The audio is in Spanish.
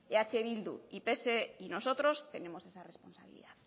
eh bildu y pse y nosotros tenemos esa responsabilidad